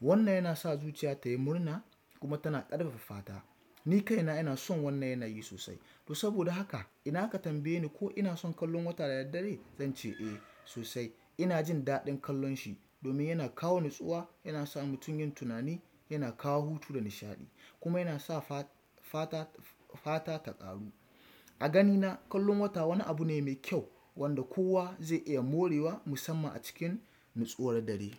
Wannan yana sa zuciya ta yi murna kuma tana ƙarfafa fata. Ni kaina ina son wannan yanayi sosai. To saboda haka idan a ka tambaye ni ko ina son kallon wata da daddare? Zan ce eh sosai. Ina jin daɗin kallon shi domin yana kawo natsuwa, yana sa mutum yin tunani, yana kawo hutu da nishaɗi kuma yana sa fata, fata ta ƙaru. A gani na kallon wata wani abu ne mai kyau wan da kowa zai iya morewa musamman a cikin nutsuwar dare.